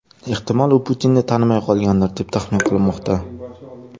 Ehtimol, u Putinni tanimay qolgandir, deb tahmin qilinmoqda.